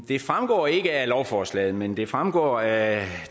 det fremgår ikke af lovforslaget men det fremgår af